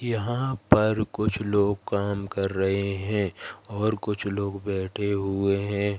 यहां पर कुछ लोग काम कर रहे हैं और कुछ लोग बैठे हुए हैं।